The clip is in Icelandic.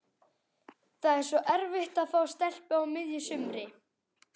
Það er svo erfitt að fá stelpu á miðju sumri.